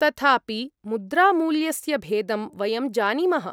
तथापि, मुद्रामूल्यस्य भेदं वयं जानीमः।